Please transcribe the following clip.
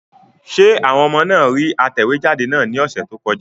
Ṣé àwọn ọmọ náà rí atẹ̀wéjáde náà ní ọ̀sẹ̀ tó kọjá?